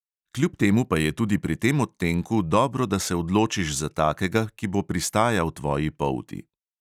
Kljub temu pa je tudi pri tem odtenku dobro, da se odločiš za takega, ki bo pristajal tvoji polti.